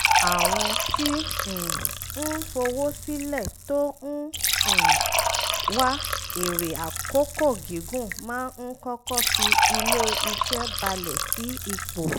àwọn tí um ń fowó sílẹ̀ tó ń um wá èrè àkókò gígùn máa ń kọ́kọ́ fi ilé-iṣẹ́ bálẹ̀ sí ipò